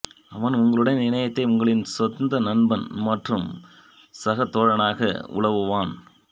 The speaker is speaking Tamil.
அவன் உங்களுடன் இணையத்தை உங்களின் சொந்த நண்பன் மற்றும் சகதோழனாக உலாவுவான்